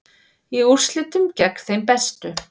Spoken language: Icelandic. Í úrslitum gegn þeim bestu